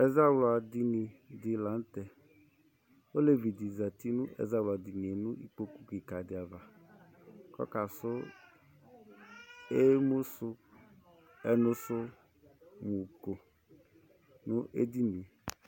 Ɛzawladɩnɩ dɩ lanʊtɛ Olevɩ dɩ zatɩ nɛawladɩnɩe nʊ ikpokʊ kɩka dɩava Ɔkasʊ ɛnʊsʊko nʊ edɩnɩe